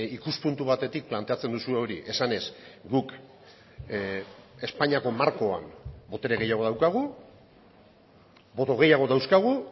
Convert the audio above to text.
ikuspuntu batetik planteatzen duzue hori esanez guk espainiako markoan botere gehiago daukagu boto gehiago dauzkagu